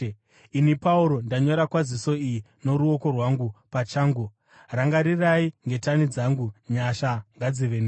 Ini, Pauro ndanyora kwaziso iyi noruoko rwangu pachangu. Rangarirai ngetani dzangu. Nyasha ngadzive nemi.